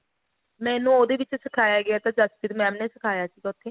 ਮੈਨੂੰ ਉਹਦੇ ਵਿੱਚ ਸਿਖਾਇਆ ਗਿਆ ਤਾਂ ਜਸਪ੍ਰੀਤ mam ਨੇ ਸਿਖਾਇਆ ਸੀਗਾ ਉੱਥੇ